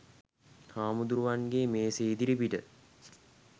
හාමුදුරුවන්ගේ මේසේ ඉදිරිපිට